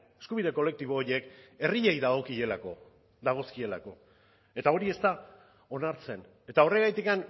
eskubide kolektibo horiek herriei dagokielako dagozkielako eta hori ez da onartzen eta horregatik